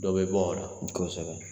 Dɔ bɛ bɔ o la kosɛbɛ